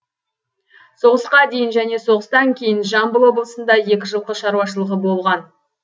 соғысқа дейін және соғыстан кейін жамбыл облысында екі жылқы шаруашылығы болған